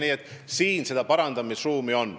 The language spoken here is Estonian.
Nii et siin seda parandamisruumi on.